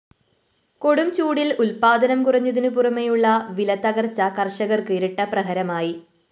കൊടും ചൂടില്‍ ഉത്പാദനം കുറഞ്ഞതിനു പുറമെയുള്ള വിലതത്തകര്‍ച്ച കര്‍ഷകര്‍ക്ക് ഇരട്ടപ്രഹരമായി